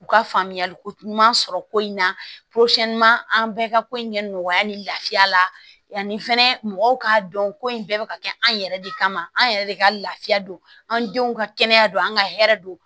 U ka faamuyali ko ɲuman sɔrɔ ko in na an bɛɛ ka ko in kɛ nɔgɔya ni lafiya la yanni fɛnɛ mɔgɔw k'a dɔn ko in bɛɛ bɛ ka kɛ an yɛrɛ de kama an yɛrɛ de ka lafiya don an denw ka kɛnɛya don an ka hɛrɛ don